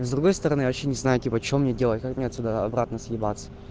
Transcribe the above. с другой стороны вообще не знаю типа что мне делать как мне отсюда обратно съебаться